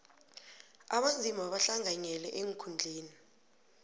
abanzima bahlanganyele eenkhundleni